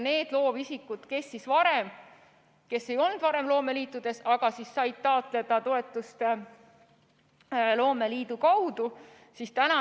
Loovisikud, kes ei olnud varem loomeliidus, said taotleda toetust loomeliidu kaudu.